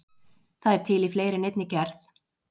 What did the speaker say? Það er til í fleiri en einni gerð.